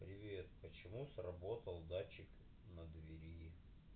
привет почему сработал датчик на двери